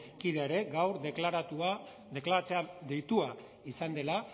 kidea ere gaur deklaratzera deitua izan dela